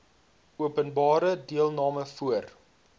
openbare deelname voor